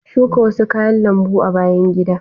Shuka wasu kayan lambu a bayan gidan.